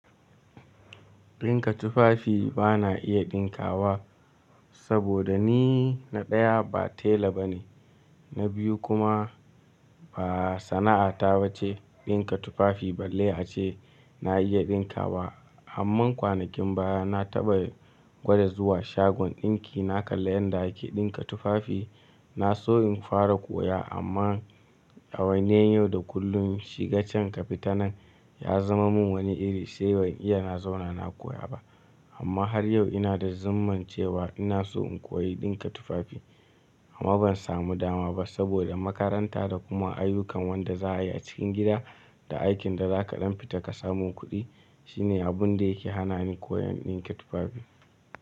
Ɗinka tufafi ba na iya ɗinkawa saboda ni na ɗaya ba tela bane, na biyu kuma ba sana'ata ba ce ɗinka tufafi, balle a ce na iya ɗinka wa. Amman kwanakin baya na taɓa gwada zuwa shagon ɗinki, na kalla yanda ake ɗinka tufafi. Na so in fara koya amma a wannan yau da kullum shiga can ka fita nan ya zama mun wani iri, sai ban iya na zauna na koya ba. Amma har yau ina da zimman cewa ina so in koyi ɗinka tufafi amma ban samu dama ba saboda makaranta da kuma ayyukan wanda za'a yi a cikin gida da aikin da za ka ɗan fita ka samo kuɗi shine abun da yake hana ni koyan ɗinka tufafi.